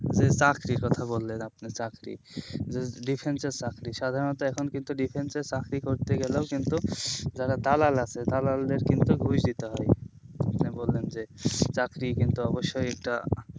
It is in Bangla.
যে চাকরির কথা বললেন আপনি চাকরি difference এর চাকরি সাধারণতো এখন কিন্তু difference এর চাকরি করতে গেলেও কিন্তু যারা দালাল আছে দালালদের কিন্তু ঘুষ দিতে হয় আপনি বললেন যে চাকরি কিন্তু অবশ্যই একটা